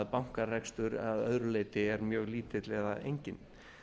bankarekstur að öðru leyti er mjög lítill eða enginn